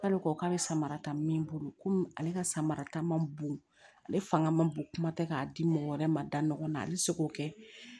K'ale ko k'a bɛ samara ta min bolo komi ale ka samara ta ma bon ale fanga ma bon kuma tɛ k'a di mɔgɔ wɛrɛ ma da ɲɔgɔn na a bɛ se k'o kɛ